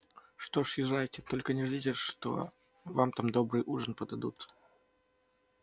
что ж езжайте только не ждите что вам там добрый ужин подадут